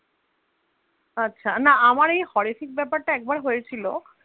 আচ্ছা না আমারও এই horrific ব্যাপার টা একবার হয়েছিল,